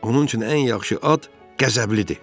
Onun üçün ən yaxşı ad Qəzəblidir.